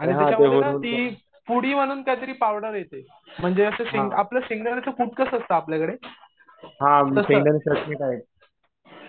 आणि त्याच्यामध्ये ना ती पुडी म्हणून काहीतरी पावडर येते. म्हणजे आपलं शेंगदाण्याचा कूट कसं असतो आपल्याकडे तसंच